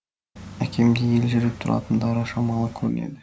әкем деп елжіреп тұратындары шамалы көрінеді